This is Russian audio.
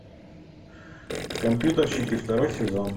компьютерщики второй сезон